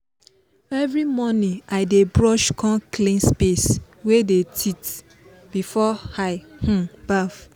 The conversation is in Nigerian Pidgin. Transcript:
every morning i dey brush com clean space wey dey teeth before i um baff.